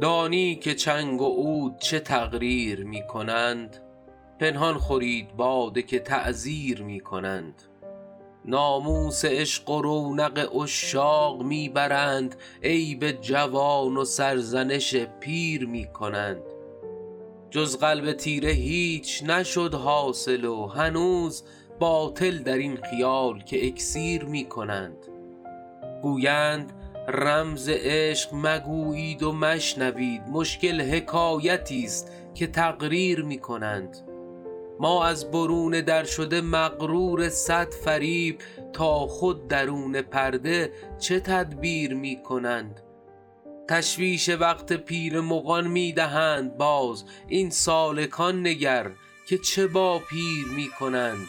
دانی که چنگ و عود چه تقریر می کنند پنهان خورید باده که تعزیر می کنند ناموس عشق و رونق عشاق می برند عیب جوان و سرزنش پیر می کنند جز قلب تیره هیچ نشد حاصل و هنوز باطل در این خیال که اکسیر می کنند گویند رمز عشق مگویید و مشنوید مشکل حکایتیست که تقریر می کنند ما از برون در شده مغرور صد فریب تا خود درون پرده چه تدبیر می کنند تشویش وقت پیر مغان می دهند باز این سالکان نگر که چه با پیر می کنند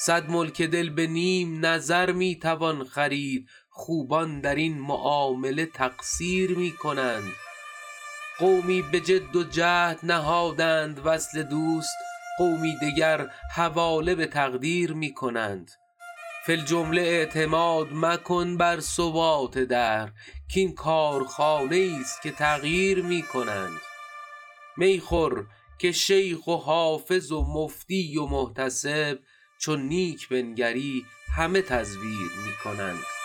صد ملک دل به نیم نظر می توان خرید خوبان در این معامله تقصیر می کنند قومی به جد و جهد نهادند وصل دوست قومی دگر حواله به تقدیر می کنند فی الجمله اعتماد مکن بر ثبات دهر کـ این کارخانه ایست که تغییر می کنند می خور که شیخ و حافظ و مفتی و محتسب چون نیک بنگری همه تزویر می کنند